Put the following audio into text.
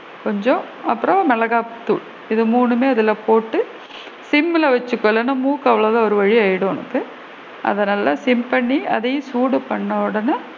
கொஞ்சம் அப்பறம் மிளகாய்த்தூள் இது மூணுமே அதுல போட்டு சிம்ல வச்சுக்கோ இல்லன்னா மூக்கு ஒரு வழியா ஆகிடும் உனக்கு அதனால் சிம் பண்ணி அதையும் சூடு பண்ணுன உடனே,